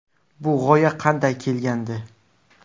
Bu g‘oya qanday kelgandi?